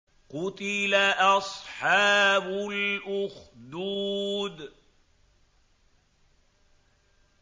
قُتِلَ أَصْحَابُ الْأُخْدُودِ